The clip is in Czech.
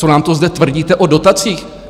Co nám to zde tvrdíte o dotacích?